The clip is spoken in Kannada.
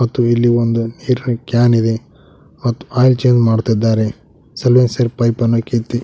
ಮತ್ತು ಇಲ್ಲಿ ಒಂದು ಕ್ಯಾನ್ ಇದೆ ಮತ್ ಆಯಿಲ್ ಚೇಂಜ್ ಮಾಡ್ತಿದ್ದಾರೆ ಸೈಲೆನ್ಸರ್ ಪೈಪನ್ನು ಕಿತ್ತಿ